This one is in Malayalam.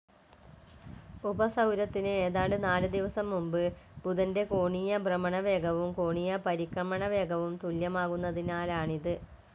ഉപസൗരത്തിന്‌ ഏതാണ്ട് നാല്‌ ദിനം മുമ്പ് ബുധന്റെ കോണീയ ഭ്രമണവേഗവും കോണീയ പരിക്രമണവേഗവും തുല്യമാകുന്നതിനാലാണിത്.